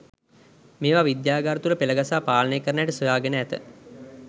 මේවා විද්‍යාගාර තුල පෙලගසා පාලනය කරන හැටි සොයාගෙන ඇත.